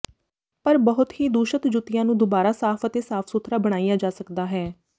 ਪਰ ਬਹੁਤ ਹੀ ਦੂਸ਼ਤ ਜੁੱਤੀਆਂ ਨੂੰ ਦੁਬਾਰਾ ਸਾਫ਼ ਅਤੇ ਸਾਫ ਸੁਥਰਾ ਬਣਾਇਆ ਜਾ ਸਕਦਾ ਹੈ